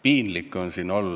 Piinlik on siin olla.